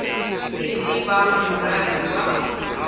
e le ba moradi wa